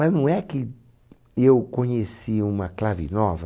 Mas não é que eu conheci uma clave nova,